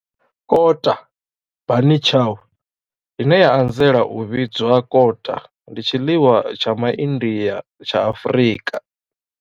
Kota, bunny chow, ine ya anzela u vhidzwa kota, ndi tshiḽiwa tsha MaIndia tsha Afrika.